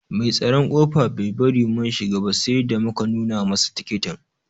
Mai tsaron kofa Bai bari mun shiga ba sai da muka nuna masa tikitin.